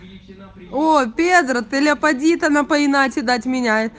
опер отель афродита напоминать отдать меня